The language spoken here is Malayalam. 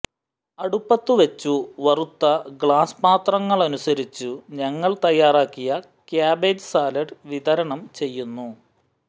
അടുപ്പത്തുവെച്ചു വറുത്ത ഗ്ലാസ് പാത്രങ്ങളനുസരിച്ചു് ഞങ്ങൾ തയ്യാറാക്കിയ ക്യാബേജ് സാലഡ് വിതരണം ചെയ്യുന്നു